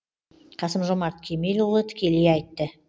қасым жомарт кемелұлы тікелей айтты